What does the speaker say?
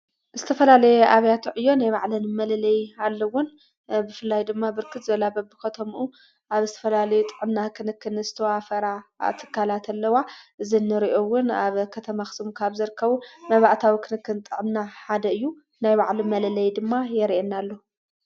ዝተፈላለይ ኣብያተዕ እዮ ናይ ባዕለን መለለይ ኣለውን ብፍላይ ድማ ብርክት ዘላበብ ኸተምኡ ኣብ እስተፈላለዩ ጥዕምና ኽንክን ስተዋፈራ ትካላእትኣለዋ ዝንርኦውን ኣብ ኸተማኽስሙ ካብ ዘርከቡ መባእታዊ ክንክን ጠዕምና ሓደ እዩ ናይ ባዕሉ መለለይ ድማ የርየና ኣሎ።